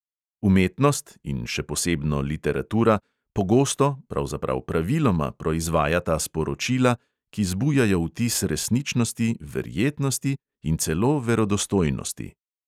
Umetnost (in še posebno literatura) pogosto, pravzaprav praviloma proizvajata sporočila, ki zbujajo vtis resničnosti, verjetnosti in celo verodostojnosti.